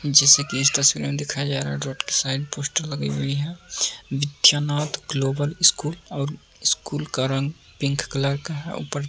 जैसे कि इस तस्वीर में दिखाया जा रहा है जोकि साइड पोस्टर लगी हुए हैं। मिथ्या नाथ ग्लोबल स्कूल और स्कूल का रंग पिंक कलर का है और ऊपर --